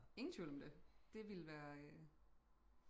ingen tvivl om det det ville være øh